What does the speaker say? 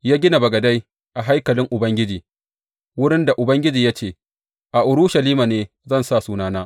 Ya gina bagadai a haikalin Ubangiji, wurin da Ubangiji ya ce, A Urushalima ne zan sa Sunana.